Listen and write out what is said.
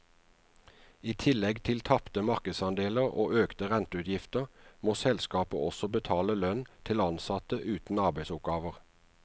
I tillegg til tapte markedsandeler og økte renteutgifter, må selskapet også betale lønn til ansatte uten arbeidsoppgaver.